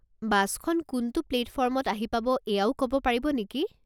বাছখন কোনটো প্লেটফৰ্মত আহি পাব এয়াও ক'ব পাৰিব নেকি?